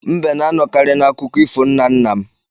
Mbe na-anọkari na akụkọ ifo nna nna m.